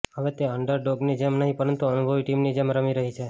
હવે તે અંડર ડોગની જેમ નહીં પરંતુ અનુભવી ટીમની જેમ રમી રહી છે